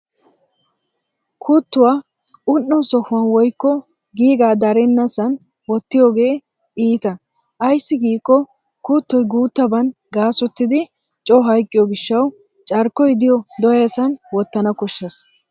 Kuttu un'o sohuwan woykko giigaa darennasa wottiyogee iita ayssi giikko kuttoy guuttaban gaasoytidi coo hayqqiyo gishshawu carkkoy diyo dooyasan wottana koshshes.